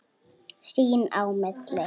Sín á milli.